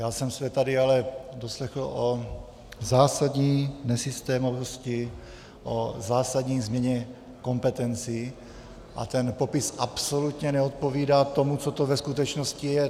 Já jsem se tady ale doslechl o zásadní nesystémovosti, o zásadní změně kompetencí a ten popis absolutně neodpovídá tomu, co to ve skutečnosti je.